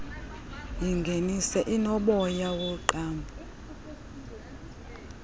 yingeniso enomoya woqambo